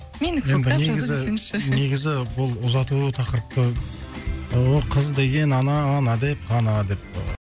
менікі сол кітап жазу десеңізші негізі бұл ұзату тақырыпты ооо қыз деген ана ана деп қана деп